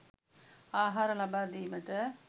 ආහාර ලබාදීමට